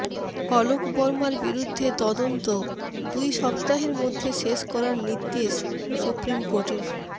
অলোক বর্মার বিরুদ্ধে তদন্ত দুই সপ্তাহের মধ্যে শেষ করার নির্দেশ সুপ্রিম কোর্টের